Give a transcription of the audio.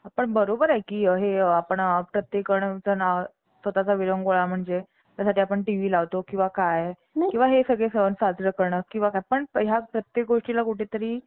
संत एकनाथाचे गुरु, सद्गुरू जनार्दन स्वामी होते. जनार्दन स्वामींनी त्यांना अनेक महत्वाचे उपदेश दिले. जनार्दन स्वामी हे मूळचे चाळीसगावचे रहिवासी होते. त्यांचे आडनाव देशपांडे होते.